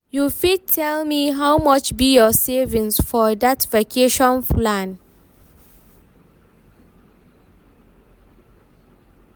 you fit tell me how much be your savings for that vacation plan?